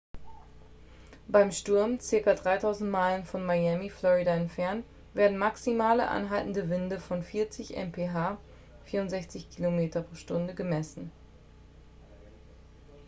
beim sturm ca. 3000 meilen von miami florida entfernt werden maximale anhaltende winde von 40 mph 64 km/h gemessen